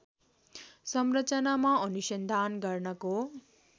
संरचनामा अनुसन्धान गर्नको